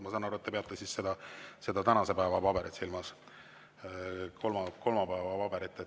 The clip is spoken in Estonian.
Ma saan aru, et te peate silmas seda tänase päeva, kolmapäeva paberit.